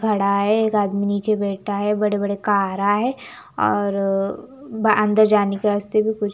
खड़ा है एक आदमी नीचे बैठ है बड़े बड़े कारा है और अ अंदर जाने के रास्ते भी कु --